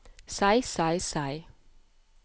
seg seg seg